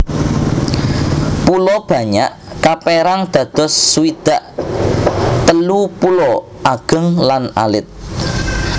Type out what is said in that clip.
Pulo Banyak kapérang dados swidak telu pulo ageng lan alit